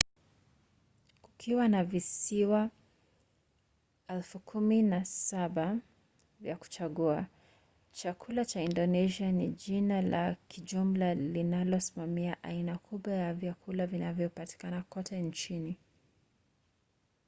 kukiwa na visiwa 17,000 vya kuchagua chakula cha indonesia ni jina la kijumla linalosimamia aina kubwa ya vyakula vinavyopatikana kote nchini